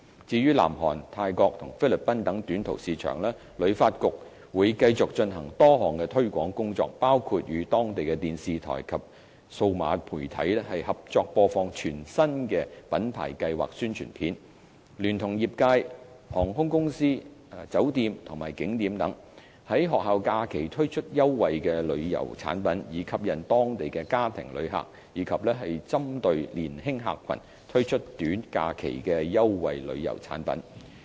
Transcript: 至於南韓、泰國及菲律賓等短途市場，旅發局會繼續進行多項推廣工作，包括與當地電視台及數碼媒體合作播放全新的品牌計劃宣傳片；聯同業界、航空公司、酒店及景點等，於學校假期推出優惠旅遊產品，以吸引當地家庭旅客，以及針對年輕客群，推出短假期的優惠旅遊產品。